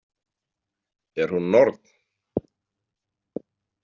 Er hún norn?